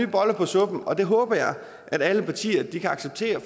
boller på suppen og det håber jeg alle partier kan acceptere